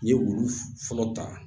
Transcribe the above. N ye olu fɔlɔ ta